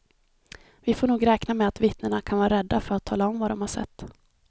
Vi får nog räkna med att vittnena kan vara rädda för att tala om vad de sett.